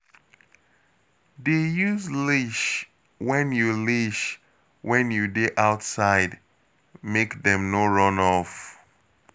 Dey use leash when you leash when you dey outside, make dem no run off.